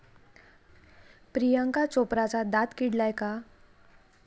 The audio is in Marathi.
प्रियांका चोप्राचा दात किडलाय का?